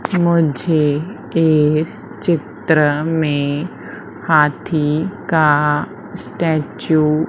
मुझे इस चित्र में हाथी का स्टैचू --